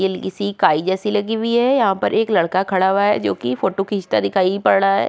सी काई जैसी लगी हुई है यहाँ पर एक लड़का खड़ा हुआ है जो की फोटो खींचता दिखाई पड़ रहा है।